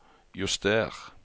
juster